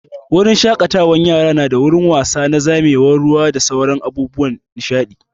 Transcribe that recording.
Wurin shaƙatawan yara nada wurin wasa na zamewar ruwa da sauran abun nishaɗi